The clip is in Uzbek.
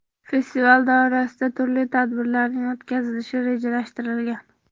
Festival doirasida turli tadbirlarning o‘tkazilishi rejalashtirilgan.